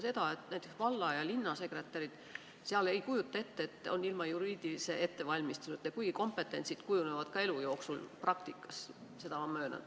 Meenutan ka seda, et ei kujuta ette näiteks ilma juriidilise ettevalmistuseta valla- ja linnasekretäre, kuigi kompetents kujuneb ka elu jooksul, praktika käigus, seda ma möönan.